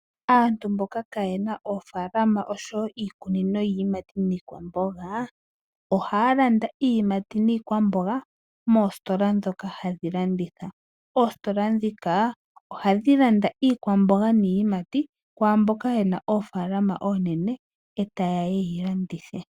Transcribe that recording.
Aantu mboka kaye na oofalama osho wo iikunino yiiyimati niikwamboga ohaya landa iiyimati niikwamboga moositola ndhoka hadhi landitha. Oositola ndhika ohadhi landa iikwamboga niiyimati kwaa mboka ye na oofalama oonene e taye ya ye yi landithe.